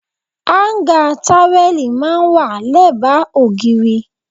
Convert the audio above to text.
Áńgá táwẹ́lì máa ń wà lẹ́bàá ògiri.